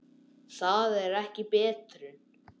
Það er ekki betrun.